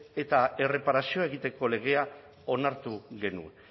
eta erreparazioa egiteko legea onartu genuen